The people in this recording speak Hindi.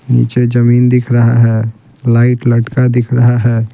नीचे जमीन दिख रहा है लाइट लटका दिख रहा है।